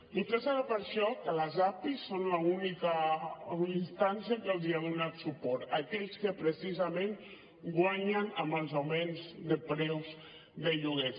potser serà per això que les api són l’única instància que els ha donat suport aquells que precisament guanyen amb els augments de preus de lloguers